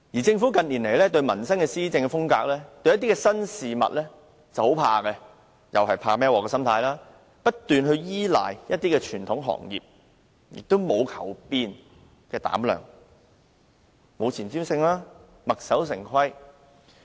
政府近年面對民生議題及新事物時，施政時往往怕"孭鑊"，因而不斷依賴傳統行業，沒有求變的膽量，沒有前瞻性，墨守成規。